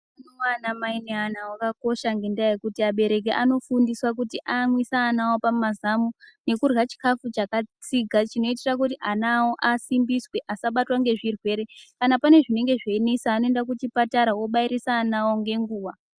Hutano hwana mai neana awo hwakakosha ngendaa yekuti abereki anofundiswa kuti aamwise ana awo pamazamu nekurya chikafu chakatsiga chinoitira kuti ana awo asimbiswe asabatwa ngezvirwere ,kana pane zvinenge zvinesa anoenda kuchipatara ondobairise ana awo ngenguwa.